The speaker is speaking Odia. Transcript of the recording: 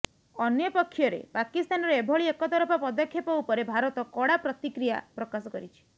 ଅନ୍ୟପକ୍ଷରେ ପାକିସ୍ତାନର ଏଭଳି ଏକତରଫା ପଦକ୍ଷେପ ଉପରେ ଭାରତ କଡା ପ୍ରତିକ୍ର୍ରିୟା ପ୍ରକାଶ କରିଛି